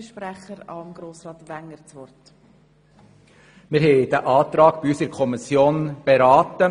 der SiK. Wir haben den Antrag in der Kommission beraten.